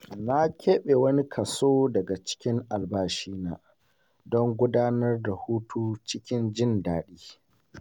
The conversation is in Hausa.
Na keɓe wani kaso daga cikin albashina don gudanar da hutu cikin jin daɗi.